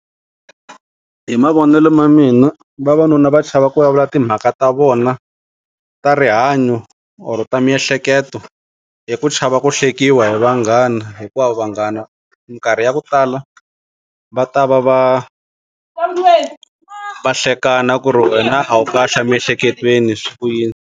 Hi mavonelo ma mina vavanuna va chava ku vulavula timhaka ta vona ta rihanyo or ta miehleketo hi ku chava ku hlekiwa hi vanghana hikuva vanghana minkarhi ya ku tala va ta va va va hlekana ku ri wena a wu kahle emiehleketweni swi ku yini.